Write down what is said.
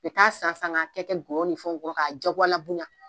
I k'a san san ka kɛ kɛ nkɔyɔ ni fɛnw kɔrɔ k'a diyagoya bonya